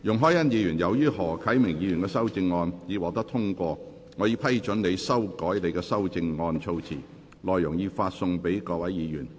容海恩議員，由於何啟明議員的修正案獲得通過，我已批准你修改你的修正案措辭，內容已發送各位議員。